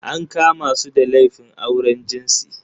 An kama su da laifin auren jinsi.